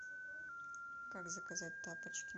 как заказать тапочки